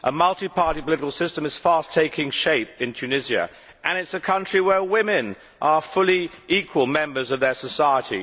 A multiparty political system is fast taking shape in Tunisia and it is a country where women are fully equal members of their society.